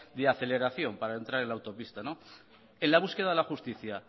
de aceleración para entrar en la autopista en la búsqueda de la justicia